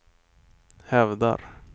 hävdar